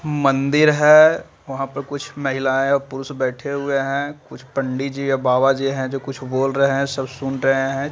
मंदिर है वहाँ पर कुछ महिला और कुछ पुरुष बैठे हुए है कुछ पंडित जी और बाबा जी है जो कुछ बोल रहे है सब सुन रहे है।